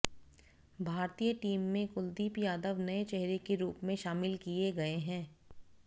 भारतीय टीम में कुलदीप यादव नए चेहरे के रूप में शामिल किए गए हैं